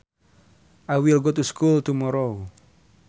I will go to school tomorrow